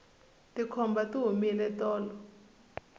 tikhomba ti humile tolo